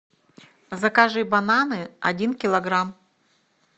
закажи бананы один килограмм